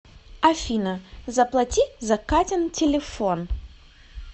афина заплати за катин телефон